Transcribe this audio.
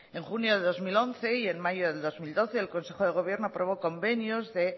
en junio de dos mil once y en mayo de dos mil doce el consejo de gobierno aprobó convenios de